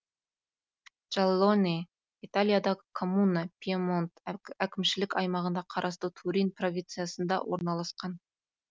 джальоне италиядағы коммуна пьемонт әкімшілік аймағына қарасты турин провинциясында орналасқан